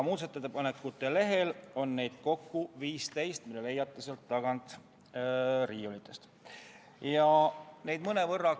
Muudatusettepanekute lehel, mille leiate sealt tagant riiulitest, on neid kokku 15.